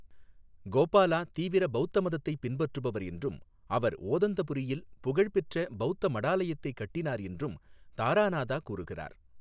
கோபாலா தீவிர பௌத்த மதத்தைப் பின்பற்றுபவர் என்றும் அவர் ஓதந்தபுரீயில் புகழ்பெற்ற பௌத்த மடாலயத்தை கட்டினார் என்றும் தாராநாதா கூறுகிறார்.